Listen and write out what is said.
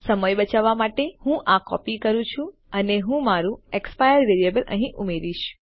સમય બચાવવા માટે હું આ કોપી કરું છું અને હું મારું એક્સપાયર વેરીએબલ અહી ઉમેરીશ